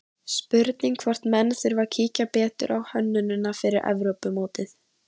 Spurning hvort menn þurfi að kíkja betur á hönnunina fyrir Evrópumótið?